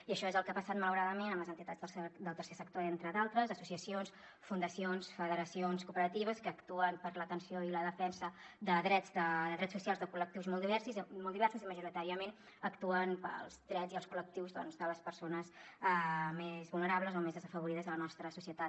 i això és el que ha passat malauradament amb les entitats del tercer sector entre d’altres associacions fundacions federacions cooperatives que actuen per l’atenció i la defensa de drets socials de col·lectius molt diversos i majoritàriament actuen pels drets i els col·lectius de les persones més vulnerables o més desafavorides de la nostra societat